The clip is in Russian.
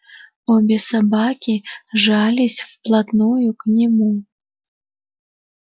обе собаки жались вплотную к нему